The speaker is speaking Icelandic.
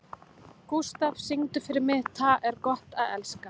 Gústaf, syngdu fyrir mig „Tað er gott at elska“.